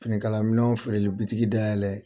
Finikalamɛnw feerelibitigi dayɛlɛ